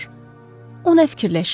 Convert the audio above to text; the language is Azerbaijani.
On nə fikirləşir?